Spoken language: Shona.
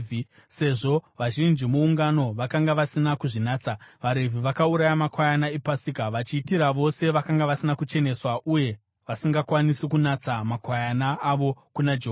Sezvo vazhinji muungano vakanga vasina kuzvinatsa, vaRevhi vakauraya makwayana ePasika vachiitira vose vakanga vasina kucheneswa uye vasingakwanisi kunatsa makwayana avo kuna Jehovha.